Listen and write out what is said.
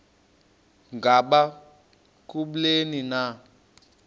ngaba kubleni na